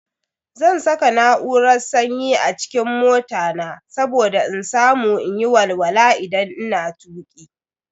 Zan saka na'urar sanyi a cikin mota na saboda in samu in yi walwala idan ina tuki.